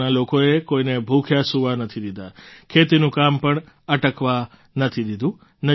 ગામના લોકોએ કોઈને ભૂખ્યા સૂવા નથી દીધા ખેતીનું કામ પણ અટકવા નથી દીધું